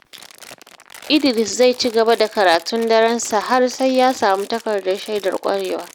Idris zai ci gaba da karatun darensa har sai ya samu takardar shaidar ƙwarewa.